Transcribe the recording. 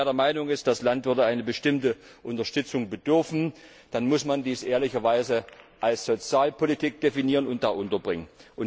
Und wer der Meinung ist, das Land würde einer bestimmten Unterstützung bedürfen, der muss dies dann auch ehrlicherweise als Sozialpolitik definieren und dort unterbringen.